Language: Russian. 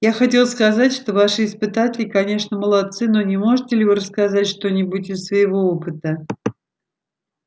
я хотел сказать что ваши испытатели конечно молодцы но не можете ли вы рассказать что-нибудь из своего опыта